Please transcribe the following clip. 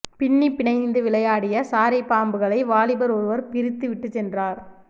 பின்னி பிணைந்து விளையாடிய சாரை பாம்புகளை வாலிபர் ஒருவர் பிரித்து விட்டு சென்றார்